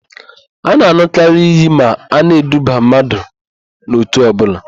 A na-an̄ụkarị íyí ma a na-eduba mmadụ n'òtù ọbụla.